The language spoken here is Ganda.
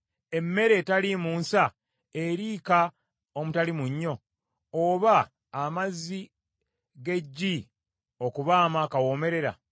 Emmere etaliimu nsa eriika omutali munnyo, oba amazzi g’eggi okubaamu akawoomerera?